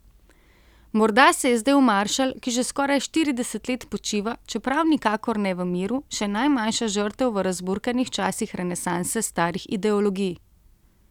Morda se je zdel maršal, ki že skoraj štirideset let počiva, čeprav nikakor ne v miru, še najmanjša žrtev v razburkanih časih renesanse starih ideologij.